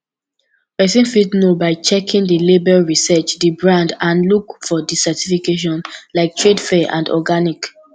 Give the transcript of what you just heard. pesin fit know by checking di label research di brand and look for di certifications like fair trade and organic